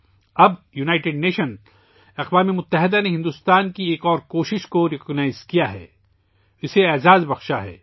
اب اقوام متحدہ نے بھارت کی ایک اور کوشش کو تسلیم کیا ہے، اس کا احترام کیا ہے